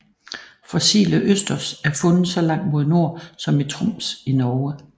Fossile østers er fundet så langt mod nord som i Troms i Norge